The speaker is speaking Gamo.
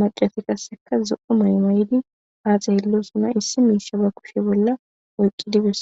macati qasseka zo7u mayo mayidi haa xeellosona issi miisha ba kushe bolla oyqqidi besa.